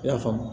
I y'a faamu